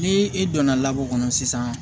Ni i donna kɔnɔ sisan